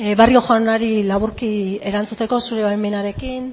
barrio jaunari laburki erantzuteko zure baimenarekin